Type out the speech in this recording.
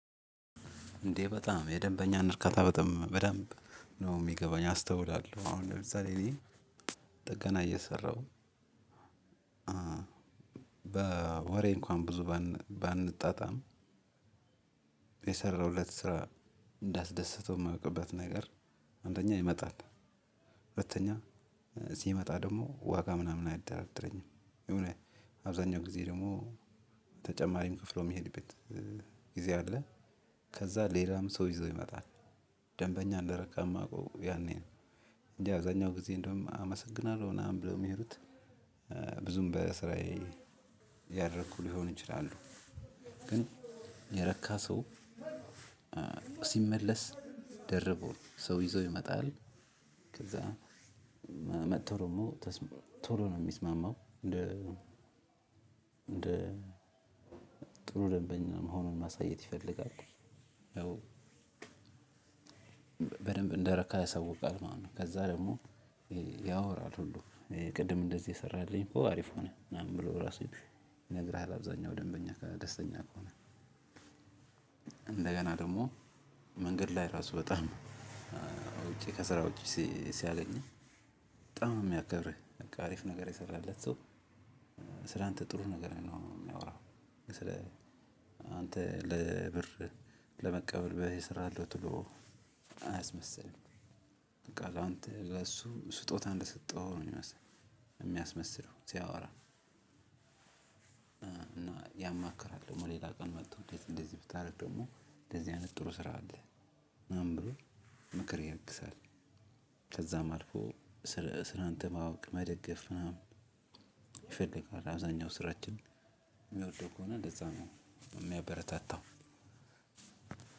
እንዴ በጣም የደንበኛን እርካታ በጣም በደንብ ነው የሚገባኝ አስተውላለሁ። አሁን ለምሳሌ ጥገና እየሰራሁ። በወሬ እንኳን ብዙ ባንጣጣም የሰራሁለት ስራ እንዳስደሰተው የማውቅበት ነገር። አንደኛ ይመጣል። ሁለተኛ ሲመጣ ደግሞ ዋጋ ምናምን አይደራደረኝም። የሆነ አብዛኛው ጊዜ ደግሞ ተጨማሪም ከፍሎ የሚሄድበት ጊዜ አለ። ከዛ ሌላም ሰው ይዞ ይመጣል። ደንበኛ እንደረካ የማውቀው ያኔ ነው። እንደአብዛኛው ጊዜ እንደውም አመሰግናለሁ ምናምን ብለው የሚሄዱት። ብዙም በስራዬ ያልረኩ ሊሆኑ ይችላሉ። ግን የረኪ ሰው ሲመለስ ደርቦ ሰው ይዞ ይመጣል። ከዛ መጥቶ ደሞ ቶሎ ነው የሚስማመው እንደ ጥሩ ደንበኛ መሆኑን ማሳየት ይፈልጋል። ያው በደንብ እንደረካ ያሳውቃል ማለት ነው። ከዛ ደግሞ ያወራል ሁሉ ቅድም እንደዚህ የሰራህልኝ ኮ አሪፍ ሆነ ምናምን ብሎ ራሱ ይነግርሃል። አብዛኛው ደንበኛ ደስተኛ ከሆነ። እንደገና ደግሞ መንገድ ላይ ራሱ በጣም ውጪ ከስራውጪ ሲያገኝህ በጣም ነው የሚያከብርህ በቃ አሪፍ ነገር የሰራህለት። ስላንተ ጥሩ ነገር ነው የሚያወራው። ስለ አንተ ለብር ለመቀበል በዚህ እሰራለሁ ተሎ አያስመስልም። በቃላንተ ለእሱ ስጦታ እንደሰጠሀው ነው ሚመስል የሚያስመስለው ሲያወራ። እና ያማክራሃል ደግሞ ሌላ ቀን መጥቶ እንደዚ እንደዚህ ብታደርግ ደግሞ እንደዚህ አይነት ጥሩ ስራ አለ ምናምን ብሎ ምክር ይለግሳል። ከዛም አልፎ ስላንተ ማወቅ መደገፍ ምናምን ይፈልጋል። አብዛኛው ስራችን የሚወድህ ከሆነ እንደዛ ነው የሚያበረታታው።